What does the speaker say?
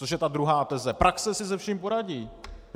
Což je ta druhá teze - praxe si se vším poradí.